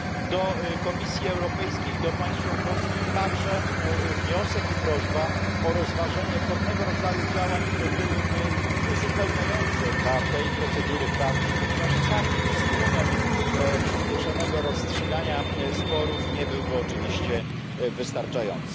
Do Komisji Europejskiej, do państw członkowskich, także wniosek i prośba o rozważenie pewnego rodzaju działań, które byłyby uzupełniające dla tej procedury prawnej, ponieważ sam instrument przyspieszonego rozstrzygania sporów nie byłby oczywiście wystarczający.